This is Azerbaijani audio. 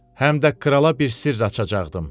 Həm də krala bir sirr açacaqdım.